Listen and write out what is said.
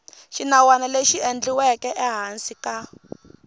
xinawana lexi endliweke ehansi ka